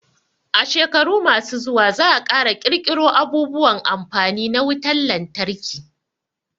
A shekaru ma su zuwa za a ƙara ƙirƙiro abubuwan amfani na wutan lantarki